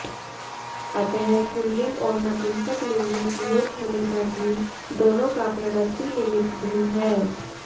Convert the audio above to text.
अतः पुंल्लिङ्ग और नपुंसकलिङ्ग में प्रयोग होने पर भी दोनों का प्रवृत्तिनिमित्त भिन्न है